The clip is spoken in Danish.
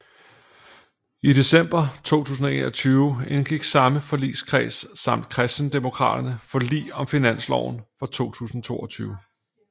I december 2021 indgik samme forligskreds samt Kristendemokraterne forlig om finansloven for 2022